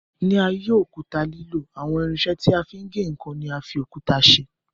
Nígbà ayé òkúta lílò, àwọn irinṣẹ́ tí a fi ń gé ǹkan ni a fi òkúta ṣe.